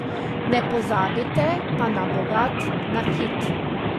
Ne pozabite pa na bogat nakit.